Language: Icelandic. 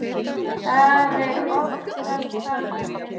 Það er oftast þannig.